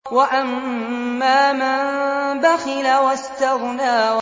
وَأَمَّا مَن بَخِلَ وَاسْتَغْنَىٰ